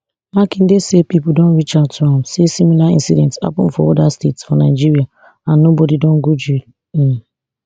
makinde say pipo don reach out to am say similar incidents happun for oda states for nigeria and nobody don go jail um